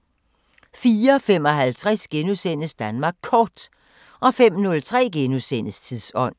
04:55: Danmark Kort * 05:03: Tidsånd *